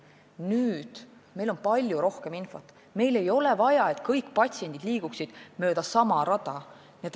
Nüüd on meil palju rohkem infot ja ei ole vaja, et kõik patsiendid liiguksid mööda sama rada.